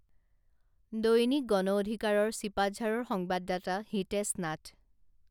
দৈনিক গণ অধিকাৰৰ ছিপাঝাৰৰ সংবাদদাতা হিতেশ নাথ